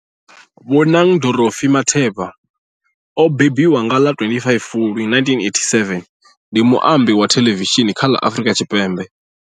Bonang Dorothy Matheba o mbembiwa nga ḽa 25 Fulwi 1987, ndi muambi wa thelevishini kha ḽa Afrika Tshipembe.